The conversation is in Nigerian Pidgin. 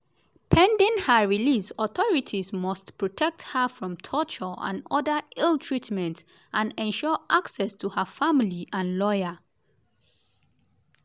“pending her release authorities must protect her from torture and oda ill-treatment and ensure access to her family and lawyer.